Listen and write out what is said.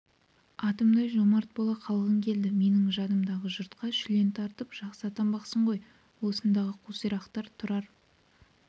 атымтай жомарт бола қалғың келеді менің жадымнан жұртқа шүлен таратып жақсы атанбақсың ғой осындағы қусирақтар тұрар